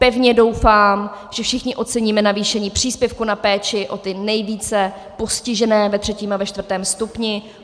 Pevně doufám, že všichni oceníme navýšení příspěvku na péči o ty nejvíce postižené ve třetím a ve čtvrtém stupni.